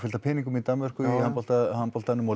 peningar í Danmörku í handboltanum handboltanum og